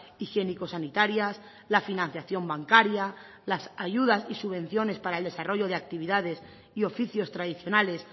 higiénico sanitarias la financiación bancaria las ayudas y subvenciones para el desarrollo de actividades y oficios tradicionales